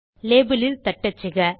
label இல் தட்டச்சுக